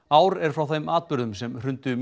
ár er frá þeim atburðum sem hrundu